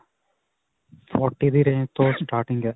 forty ਦੀ range ਤੋ starting ਹੈ.